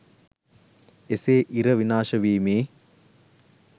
එසේ ඉර විනාශ වීමේ